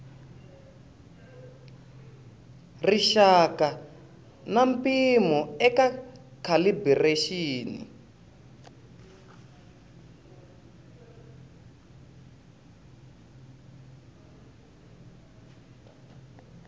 rixaka na mpimo eka calibiraxini